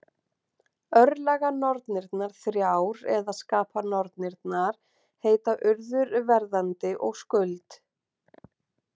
Örlaganornirnar þrjár, eða skapanornirnar, heita Urður, Verðandi og Skuld.